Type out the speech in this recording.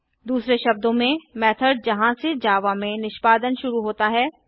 दूसरे शब्दों में मेथड जहाँ से जावा में निष्पादन शुरू होता है